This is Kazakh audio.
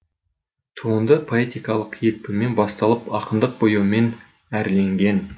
туынды поэтикалық екпінмен басталып ақындық бояумен әрленген